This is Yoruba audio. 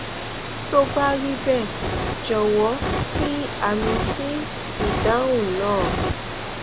tó bá rí bẹẹ jọwọ fi àmì sí ìdáhùn náà